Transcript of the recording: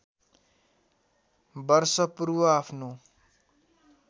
वर्ष पूर्व आफ्नो